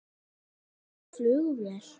Er þetta flugvél?